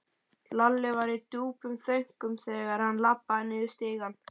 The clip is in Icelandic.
Lalli var í djúpum þönkum þegar hann labbaði niður stigann.